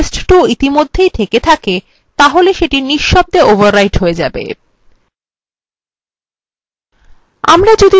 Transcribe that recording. যদি test2 ইতিমধ্যেই থেকে থাকে তাহলে if: শব্দভাবে overwrite হয়ে যায়